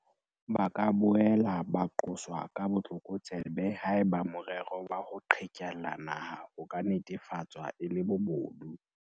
Ba ka boela ba qoswa ka botlokotsebe haeba morero wa ho qhekella naha o ka netefatswa e le bobodu.